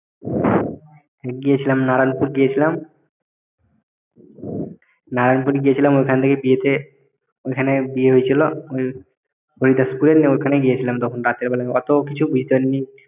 গিয়েছিলাম নারায়ণপুর গেছিলাম নারায়ণপুর গিয়েছিলাম ওইখান থেকে বিয়েতে ওইখানে বিয়ে হয়েছিল ওই হরিদাসপুরে ওইখানে গিয়েছিলাম তখন রাতের বেলায় অত বুঝতে পারিনি